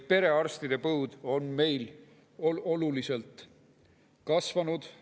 Perearstide põud on meil oluliselt kasvanud.